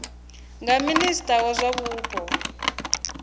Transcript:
nga minista wa zwa mupo